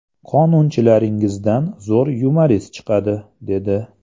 Qonunchilaringizdan zo‘r yumorist chiqadi, dedi.